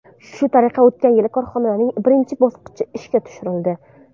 Shu tariqa o‘tgan yili korxonaning birinchi bosqichi ishga tushirildi.